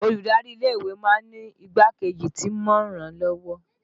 Olùdarí ilé ìwé máa ń ní igbákejì tí máa ń ràn án lọ́wọ́